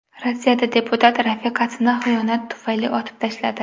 Rossiyada deputat rafiqasini xiyonat tufayli otib tashladi.